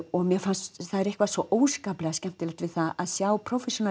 og mér fannst það er eitthvað svo óskaplega skemmtilegt við það að sjá